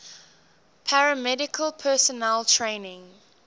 paramedical personnel training